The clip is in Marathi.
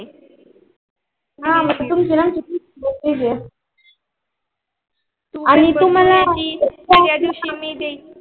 हा म्हणजे तुमची आमच केली असेल. आणि तुम्हाला